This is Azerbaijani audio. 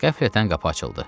Qəflətən qapı açıldı.